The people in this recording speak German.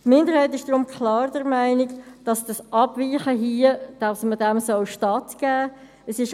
Die Minderheit der FiKo ist deshalb klar der Meinung, dass diesem Abweichen stattgegeben werden sollte.